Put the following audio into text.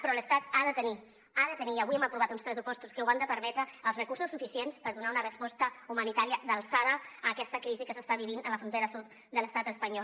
però l’estat ha de tenir i avui hem aprovat uns pressupostos que ho han de permetre els recursos suficients per donar una resposta humanitària d’alçada a aquesta crisi que s’està vivint a la frontera sud de l’estat espanyol